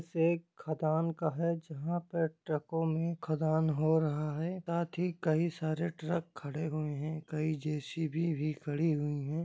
जैसे एक खदान का है जहाँ पर ट्रको में खदान हो रहा है साथ ही कई सारे ट्रक खड़े हुए है कई जे.सी.बी भी खड़ी हुई है।